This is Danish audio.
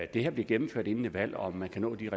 det her bliver gennemført inden et valg og om man kan nå de